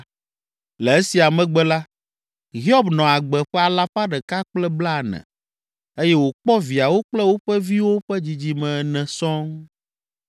Le esia megbe la, Hiob nɔ agbe ƒe alafa ɖeka kple blaene (140) eye wòkpɔ viawo kple woƒe viwo ƒe dzidzime ene sɔŋ.